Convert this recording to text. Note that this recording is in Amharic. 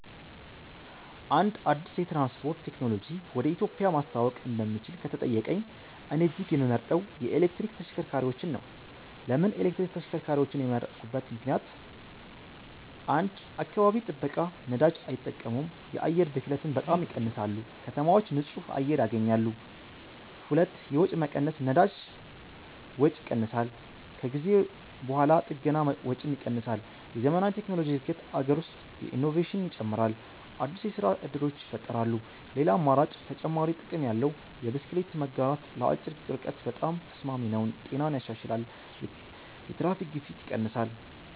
አንድ አዲስ የትራንስፖርት ቴክኖሎጂ ወደ ኢትዮጵያ ማስተዋወቅ እንደምችል ከተጠየቀኝ፣ እኔ እጅግ የምመርጠው የኤሌክትሪክ ተሽከርካሪዎች ነው። ለምን ኤሌክትሪክ ተሽከርካሪዎችን የመረጥኩበት ምክንደያት? 1. አካባቢ ጥበቃ ነዳጅ አይጠቀሙም የአየር ብክለትን በጣም ይቀንሳሉ ከተማዎች ንጹህ አየር ያገኛሉ 2. የወጪ መቀነስ ነዳጅ ወጪ ይቀንሳል ከጊዜ በኋላ ጥገና ወጪም ይቀንሳል የዘመናዊ ቴክኖሎጂ እድገት አገር ውስጥ ኢኖቬሽን ይጨምራል አዲስ የስራ እድሎች ይፈጠራሉ ሌላ አማራጭ (ተጨማሪ ጥቅም ያለው) የብስክሌት መጋራት ለአጭር ርቀት በጣም ተስማሚ ነው ጤናን ያሻሽላል የትራፊክ ግፊት ይቀንሳል